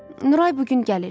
Nuray bu gün gəlir.